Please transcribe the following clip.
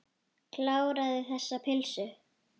Kláraðu þessa pylsu.